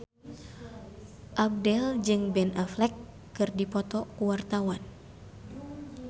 Abdel jeung Ben Affleck keur dipoto ku wartawan